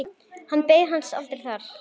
Hann beið hans aldrei þar.